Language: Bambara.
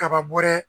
Kaba bɔ dɛ